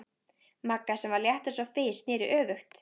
Magga, sem var létt eins og fis, sneri öfugt.